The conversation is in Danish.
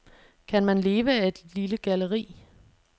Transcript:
Kan man leve af et lille galleri?